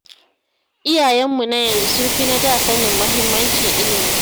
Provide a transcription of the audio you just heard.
Iyayenmu na yanzu sun fi na da sanin muhimmancin ilimi